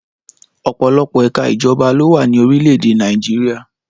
Ọ̀pọ̀lọpọ̀ ẹ̀ka ìjọba ló wà ní orílẹ̀-èdè Nàìjíríà.